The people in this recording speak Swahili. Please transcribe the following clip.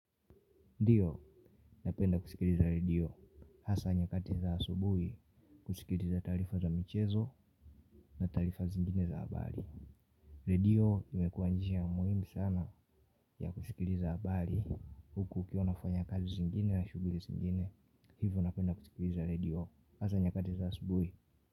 Ndio napenda kusikiliza redio hasa nyakati za subuhi kusikiliza taarifa za michezo na taarifa zingine za habari. Redio imekuwa njia muhimu sana ya kusikiliza habari huku ukiwa unafanya kazi zingine na shughuli zingine hivyo napenda kusikiliza redio hasa nyakati za subuhi.